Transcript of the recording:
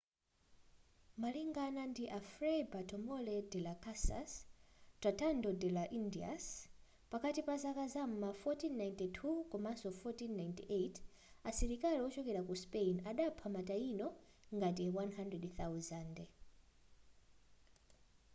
malingana ndi a fray bartolomé de las casas tratado de las indias pakati pazaka zam'ma 1492 komanso 1498 asilikali wochokera ku spain adapha ma taíno ngati 100,000